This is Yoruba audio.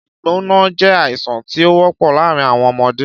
Ìgbóná jé àìsàn tí ówópò láàrin àwọn ọmọdé